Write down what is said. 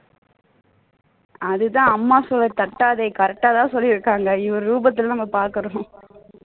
அதுதான் அம்மா சொல்லை தட்டாதே correct ஆ தான் சொல்லி இருக்காங்க இவரு ரூபத்துல நம்ம பார்க்கிறோம்